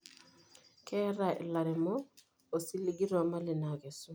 Keeta ilairemok osiligi too mali naikesu.